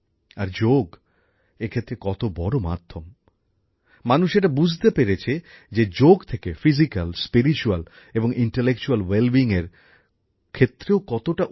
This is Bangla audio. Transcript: আর যোগ এক্ষেত্রে কত বড় মাধ্যম মানুষ এটা বুঝতে পেরেছে যে যোগ থেকে শারীরিক আধ্যাত্মিক ও বৌদ্ধিক ౼ তিনটি ক্ষেত্রেই বিকাশ ঘটে